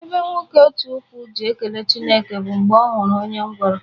Mgbe nwoke otu ụkwụ ji ekele Chukwu bụ mgbe ọ hụrụ onye ngwụrọ